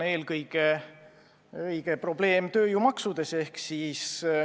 Eelkõige on probleem tööjõumaksudes.